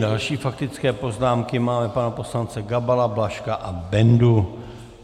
Další faktické poznámky máme - pana poslance Gabala, Blažka a Bendu.